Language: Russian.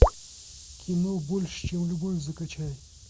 кино больше чем любовь закачай